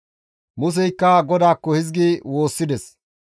Museykka GODAAKKO hizgi woossides,